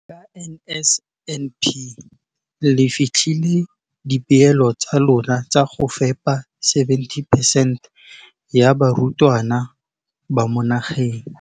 Ka NSNP le fetile dipeelo tsa lona tsa go fepa masome a supa le botlhano a diperesente ya barutwana ba mo nageng.